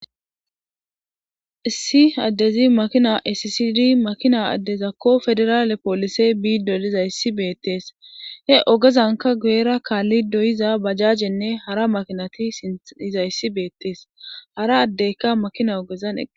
Issi addezi makina esisidi makina addezakko federaale poolisey biido diza issi beettees he ogezanka geera kaalli doyiza bajajenne hara makinati siniza issi beettees hara addeyka makina ogezan.